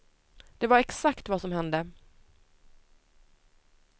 Det var exakt vad som hände.